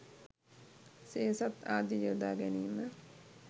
සේසත් ආදිය යොදා ගැනීම